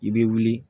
I bɛ wuli